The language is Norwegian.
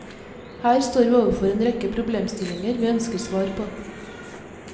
Her står vi overfor en rekke problemstillinger vi ønsker svar på.